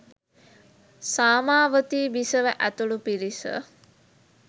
සාමාවතී බිසව ඇතුළු පිරිස